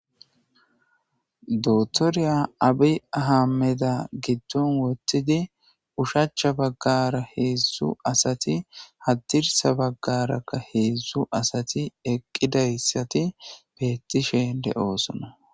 Dootoriyya Abiy Ahammediyya goddon wothidi oshacha bagara heedzu asati hadirssa bagaaraka heedzu asati eqidaysati beetishe de'oosona.